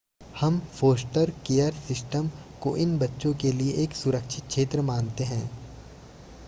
हम foster care system को इन बच्चों के लिए एक सुरक्षित क्षेत्र मानते हैं